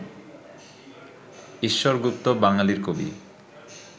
ঈশ্বর গুপ্ত বাঙ্গালীর কবি